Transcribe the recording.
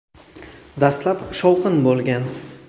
Dastlab shovqin bo‘lgan.